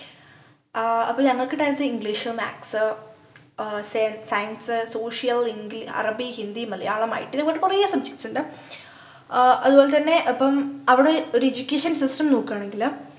ആഹ് അപ്പൊ നമ്മക്ക് tenth English maths ആഹ് സെയ science social ഇംഗ് അറബി ഹിന്ദി മലയാളം it ഇതിലും കാട്ടി കൊറേ subjects ണ്ട് ആഹ് അതുപോലെ ന്നെ അപ്പം അവിടെ ഒരു education system നോക്കുആണെങ്കില്